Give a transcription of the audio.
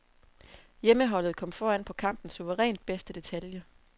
Hjemmeholdet kom foran på kampens suverænt bedste detalje.